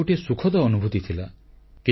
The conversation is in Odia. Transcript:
ଏହା ଗୋଟିଏ ସୁଖଦ ଅନୁଭୂତି ଥିଲା